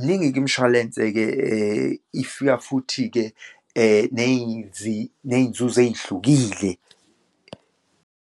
Miningi-ke imishwalense-ke, ifika futhi-ke neyinzuzo eyihlukile.